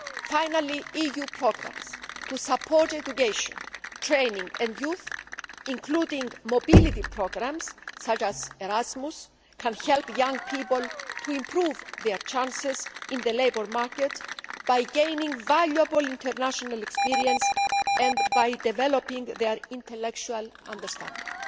Finally, EU programmes to support education, training and youth, including mobility programmes such as Erasmus, can help young people to improve their chances in the labour market by gaining valuable international experience and by developing their intellectual understanding.